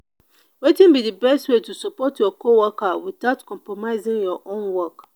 wetin be di best way to support your coworker without compromising your own work?